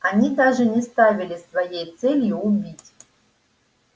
они даже не ставили своей целью убить